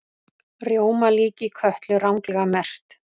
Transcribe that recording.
Rjómalíki Kötlu ranglega merkt